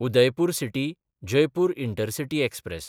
Udaipur सिटी–जयपूर intercity express